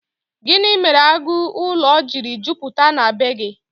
Gịnị mere agụ ụlọ jiri jupụta na bee gị?